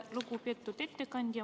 Lugupeetud ettekandja!